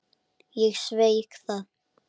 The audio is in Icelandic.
Ég sveik það.